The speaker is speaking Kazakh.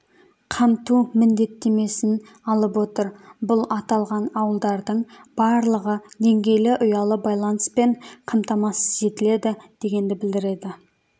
қамту міндеттемемін алып отыр бұл аталған ауылдардың барлығы деңгейлі ұялы байланыспен қамтамасыз етіледі дегенді білдіреді